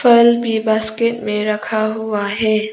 फल भी बास्केट में रखा हुआ है।